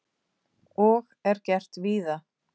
Og er gert víða.